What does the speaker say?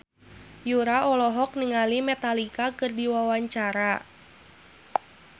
Yura olohok ningali Metallica keur diwawancara